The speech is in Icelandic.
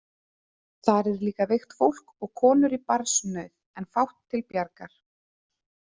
Þar er líka veikt fólk og konur í barnsnauð en fátt til bjargar.